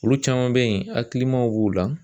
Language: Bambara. Olu caman bɛ yen ,hakilimaw b'u la.